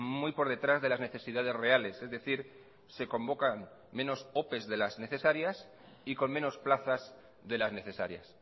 muy por detrás de las necesidades reales es decir se convocan menos ope de las necesarias y con menos plazas de las necesarias